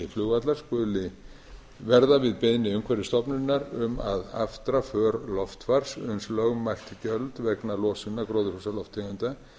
flugvalla skuli verða við beiðni umhverfisstofnunar um að aftra för loftfars uns lögmælt gjöld vegna losunar gróðurhúsalofttegunda